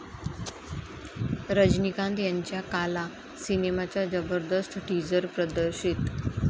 रजनीकांत यांच्या 'काला' सिनेमाचा जबरदस्त टीझर प्रदर्शित!